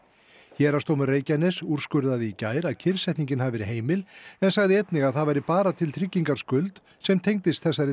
héraðsdómur Reykjaness úrskurðaði í gær að kyrrsetningin hafi verið heimil en sagði einnig að það væri bara til tryggingar skuld sem tengdist þessari